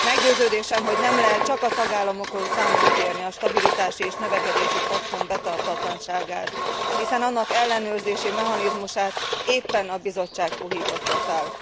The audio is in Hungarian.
Meggyőződésem, hogy nem lehet csak a tagállamokon számon kérni a stabilitási és növekedési paktum betartatlanságát, hiszen annak ellenőrzési mechanizmusát éppen a Bizottság puhította fel.